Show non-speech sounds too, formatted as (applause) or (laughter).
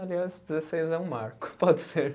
Aliás, dezesseis é um marco, pode ser. (laughs)